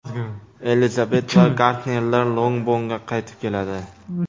Elizabet va Gardnerlar Longbornga qaytib keladi.